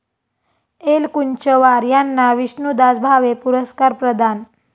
एलकुंचवार यांना विष्णुदास भावे पुरस्कार प्रदान